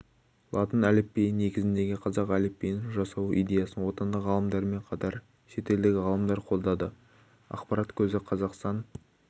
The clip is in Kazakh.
латын әліпбиі негізіндегі қазақ әліпбиін жасау идеясын отандық ғалымдармен қатар шетелдік ғалымдар қолдады ақпарат көзі қазақстан